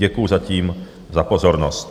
Děkuji zatím za pozornost.